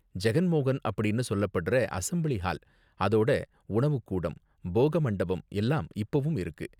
ஜெகன் மோகன் அப்படின்னு சொல்லப்படுற அசெம்ப்ளி ஹால் அதோடஉணவுக் கூடம், போக மண்டபம் எல்லாம் இப்பவும் இருக்கு.